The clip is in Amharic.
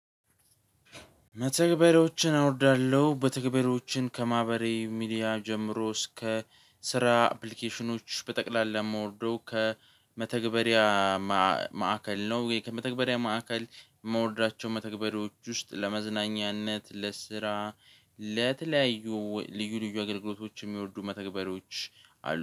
መተግበሪያዎችን አውርዳለሁ መተግበሪያዎችን ከማህበራዊ ሚዲያ ጀምሮ እስከ ስራ አፕሊኬሽኖች በጠቅላላ የማወርደው ከመተግበሪያ ማዕከል ነው። ወይ ከመተግበሪያ ማዕከል መውረዳቸው። መተግበሪያዎች ውስጥ ለመዝናኛነት ለስራ ለተለያዩ ልዩ ልዩ አገልግሎቶች የሚወርዱ መተግበሮች አሉ